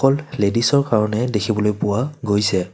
অকল লেদিছৰ কাৰণেহে দেখিবলৈ পোৱা গৈছে।